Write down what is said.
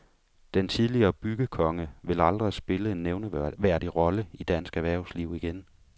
Den tidligere byggekonge vil aldrig vil spille en nævneværdig rolle i dansk erhvervsliv igen.